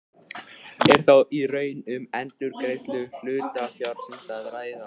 Er þá í raun um endurgreiðslu hlutafjárins að ræða.